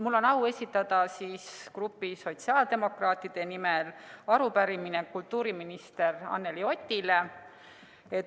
Mul on au esitada grupi sotsiaaldemokraatide nimel arupärimine kultuuriminister Anneli Otile.